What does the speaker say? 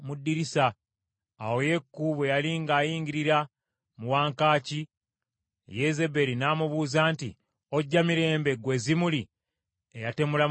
Awo Yeeku bwe yali ng’ayingirira mu wankaaki, Yezeberi n’amubuuza nti, “Ojja mirembe, ggwe Zimuli, eyatemula mukama wo?”